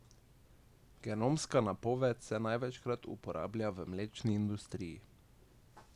Genomska napoved se največkrat uporablja v mlečni industriji.